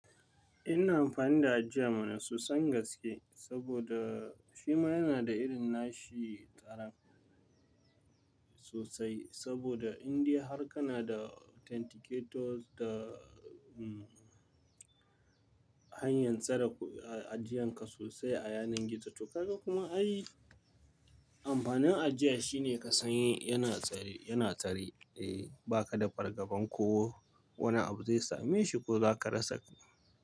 Ina amfani da ajiya mana sosan gaske saboda shima yana da irin nashi tsaran sosai. Saboda Indai har ka na da authenticators da, umm, hanyar tsara ajiyan ka sosai a yanar gizo. To ka ga kuma ai amfanin ajiya shine ka san yana tsare, yana tsare. Eh ba ka da fargaban ko wani abu zai same shi ko za ka rasa.